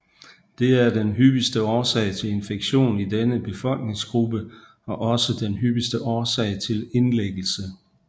Det er den hyppigste årsag til infektion i denne befolkningsgruppe og også den hyppigste årsag til indlæggelse